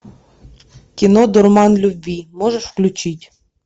кино дурман любви можешь включить